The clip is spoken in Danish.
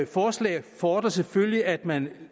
forslag fordrer selvfølgelig at man